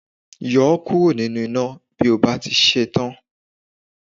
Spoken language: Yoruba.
Yọ ọ́ kúrò nínú iná bí o bá ti ṣe tán